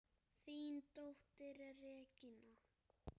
Þín dóttir, Regína.